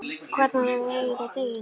Hvernig á ég að eyða deginum?